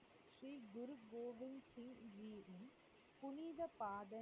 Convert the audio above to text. பாதள,